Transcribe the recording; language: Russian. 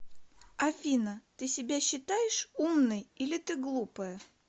афина ты себя считаешь умной или ты глупая